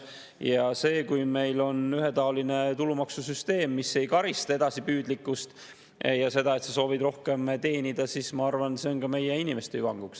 Ja see, kui meil on ühetaoline tulumaksusüsteem, mis ei karista edasipüüdlikkust ja seda, et soovitakse rohkem teenida, siis ma arvan, et see on ka meie inimeste hüvanguks.